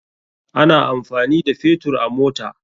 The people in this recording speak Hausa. Ana amfani da Fetur a mota.